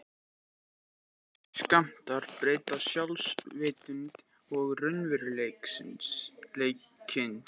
Örlitlir skammtar breyta sjálfsvitund og raunveruleikaskyni.